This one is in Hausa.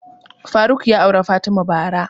Faruk ya auri fatima bara